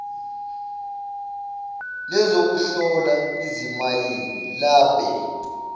lezokuhlola izimayini labe